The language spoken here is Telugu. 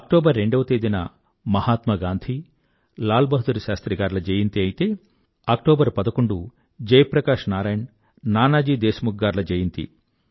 అక్టోబర్ రెండవ తేదీన మహాత్మా గాంధీ లాల బహదూర్ శాస్త్రి గార్ల జయంతి అయితే అక్టోబర్ పదకొండు జయప్రకాశ్ నారాయణ్ నానాజీ దేశ్ ముఖ్ గార్ల జయంతి